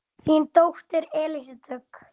Þín dóttir Elísa Dögg.